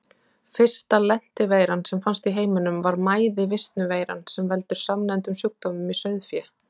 Fyrsta lenti-veiran sem fannst í heiminum var mæði-visnu-veiran sem veldur samnefndum sjúkdómum í sauðfé.